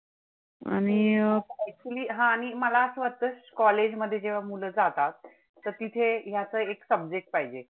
College मध्ये जेव्हा मुलं जातात तर तिथे ह्याच एक subject पाहिजे.